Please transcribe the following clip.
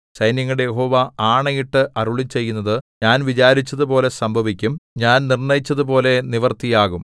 സൈന്യങ്ങളുടെ യഹോവ ആണയിട്ട് അരുളിച്ചെയ്യുന്നത് ഞാൻ വിചാരിച്ചതുപോലെ സംഭവിക്കും ഞാൻ നിർണ്ണയിച്ചതുപോലെ നിവൃത്തിയാകും